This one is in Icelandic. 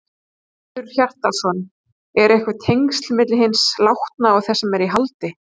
Hjörtur Hjartarson: Eru einhver tengsl á milli hins látna og þess sem er í haldi?